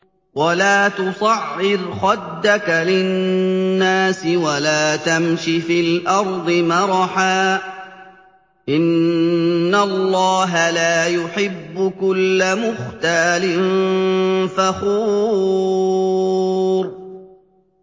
وَلَا تُصَعِّرْ خَدَّكَ لِلنَّاسِ وَلَا تَمْشِ فِي الْأَرْضِ مَرَحًا ۖ إِنَّ اللَّهَ لَا يُحِبُّ كُلَّ مُخْتَالٍ فَخُورٍ